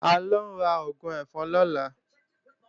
À ń lọ ra oògùn ẹ̀fọn lọ́la